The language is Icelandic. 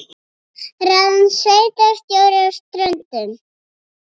Ráðin sveitarstjóri á Ströndum